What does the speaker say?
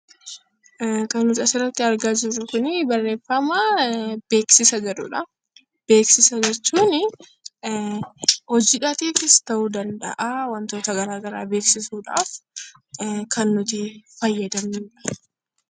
Kan nuti asirratti argaa jirru kuni barreeffama beeksisa jedhudha. Beeksisa jechuun hojiis ta'uu danda'a wantoota garaa garaa beeksisuudhaaf kan nuti fayyadamnudha.